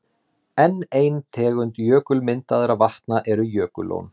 Enn ein tegund jökulmyndaðra vatna eru jökullón.